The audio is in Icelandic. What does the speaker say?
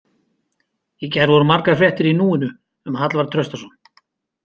Í gær voru margar fréttir í Núinu um Hallvarð Traustason.